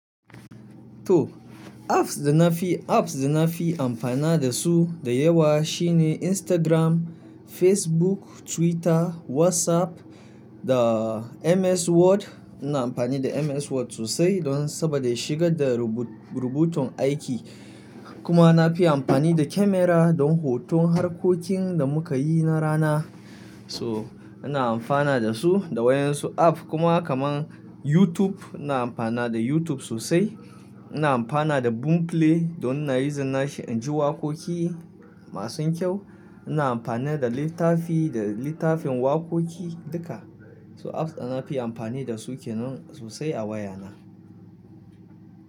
To apps da na fi, apps da na fi amfana dasu da yawa shine Instagram, Facebook, Twitter, WhatsApp da MS Word. Ina amfani da MS Word sosai don saboda shigar da rubutun aiki. Kuma na fi amfani da camera don hoton harkokin da muka yi na rana. So ina amfana dasu da waƴansu app kuma kaman YouTube ina amfana da YouTube sosai. Ina amfana da Boomplay don ina yuzin shi inji waƙoƙi masu kyau. Ina amfani da littafi da littafin waƙoƙi duka. So apps da na fi amfani dasu kenan sosai a wayana.